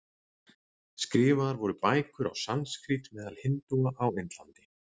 Skrifaðar voru bækur á sanskrít meðal hindúa á Indlandi.